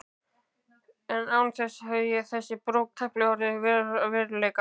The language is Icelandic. Án hans hefði þessi bók tæplega orðið að veruleika.